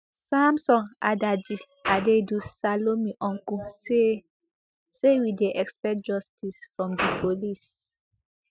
samson adaji adaidu salome uncle say say we dey expect justice from di police